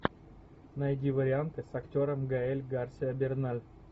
найди варианты с актером гаэль гарсиа берналь